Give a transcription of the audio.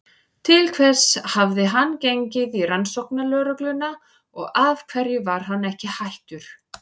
Til hvers hafði hann gengið í Rannsóknarlögregluna og af hverju var hann ekki hættur?